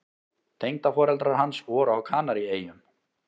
Tengdaforeldrar hans voru á Kanaríeyjum.